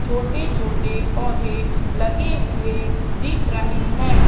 छोटे छोटे पौधे लगे हुए दिख रहे हैं।